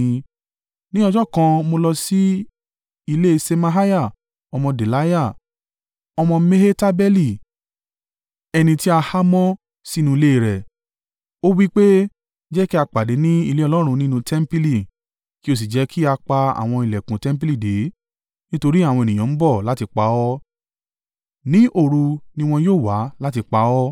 Ní ọjọ́ kan mo lọ sí ilé Ṣemaiah ọmọ Delaiah, ọmọ Mehetabeeli, ẹni tí a há mọ́ sínú ilé rẹ̀. Ó wí pé, “Jẹ́ kí a pàdé ní ilé Ọlọ́run nínú tẹmpili, kí o sì jẹ́ kí a pa àwọn ìlẹ̀kùn tẹmpili dé, nítorí àwọn ènìyàn ń bọ̀ láti pa ọ́, ní òru ni wọn yóò wá láti pa ọ́.”